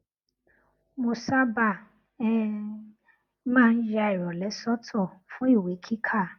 mo sábà um máa ń ya ìròlé sótò fún iwe kika